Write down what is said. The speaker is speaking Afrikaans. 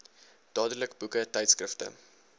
dadelik boeke tydskrifte